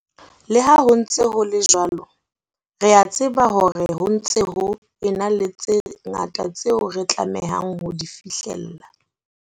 Le ha ho ntse ho le jwalo, re a tseba hore ho ntse ho ena le tse ngata tseo re tlamehang ho di fihlella.